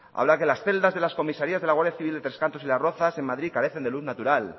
habla que las celdas de las comisarías de la guardia civil de tres cantos y las rozas en madrid carecen de luz natural